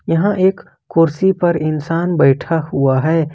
यहां एक कुर्सी पर इंसान बैठा हुआ है।